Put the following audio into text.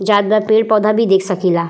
जात बा पेड़ पौधा भी देख सकीला।